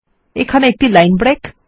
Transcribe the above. এখানে একটি line break